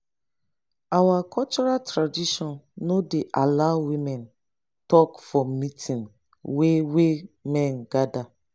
our cultural tradition no dey allow woman talk for meeting wey wey men gather